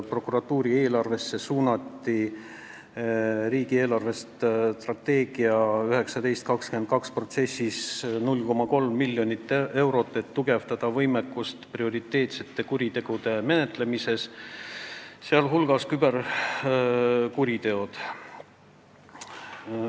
Prokuratuuri eelarvesse suunati riigi eelarvestrateegia 2019–2022 paikapanemise protsessis 0,3 miljonit eurot, et tugevdada prioriteetsete kuritegude menetlemise võimekust .